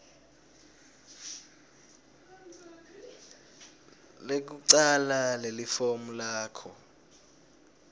lekucala lelifomu lakho